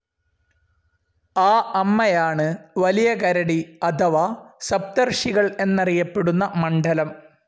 ആ അമ്മയാണ് വലിയ കരടി അഥവാ സപ്തർഷികൾ എന്നറിയപ്പെടുന്ന മണ്ഡലം.